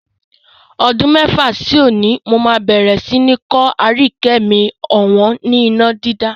Ọdún mẹ́fà sí òní, mó máa bẹ̀rẹ̀ sí ni kọ́ Aríyìíkẹ́ mi ọ̀wọ́n ni iná dídá.